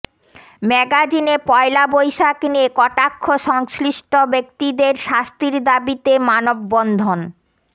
ম্যাগাজিনে পয়লা বৈশাখ নিয়ে কটাক্ষ সংশ্লিষ্ট ব্যক্তিদের শাস্তির দাবিতে মানববন্ধন